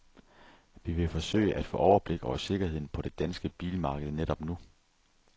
Vi vil forsøge, at få overblik over sikkerheden på det danske bilmarked netop nu.